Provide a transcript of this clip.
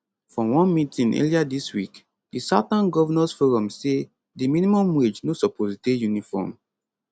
for one meeting earlier dis week di southern governors forum say di minimum wage no suppose dey uniform